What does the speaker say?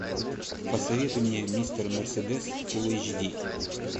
посоветуй мне мистер мерседес фулл эйч ди